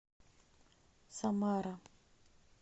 самара